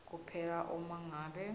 kuphela uma ngabe